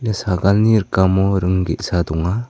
ia sagalni rikamo ring ge·sa donga.